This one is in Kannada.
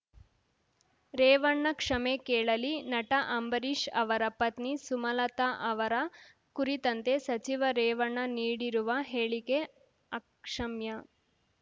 ರೇವಣ್ಣ ಕ್ಷಮೆ ಕೇಳಲಿ ನಟ ಅಂಬರೀಷ್ ಅವರ ಪತ್ನಿ ಸುಮಲತಾ ಅವರ ಕುರಿತಂತೆ ಸಚಿವ ರೇವಣ್ಣ ನೀಡಿರುವ ಹೇಳಿಕೆ ಅಕ್ಷಮ್ಯ